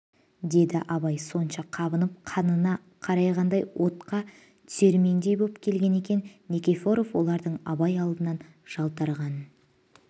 деді абай сонша қабынып қанына қарайғандай отқа түсермендей боп келген екен никифоров олардың абай алдынан жалтарғанын